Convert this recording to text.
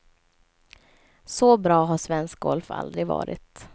Så bra har svensk golf aldrig varit.